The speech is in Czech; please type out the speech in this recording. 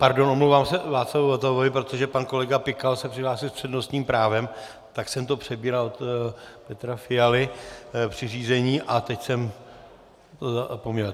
Pardon, omlouvám se Václavu Votavovi, protože pan kolega Pikal se přihlásil s přednostním právem, tak jsem to přebíral od Petra Fialy při řízení a teď jsem to zapomněl.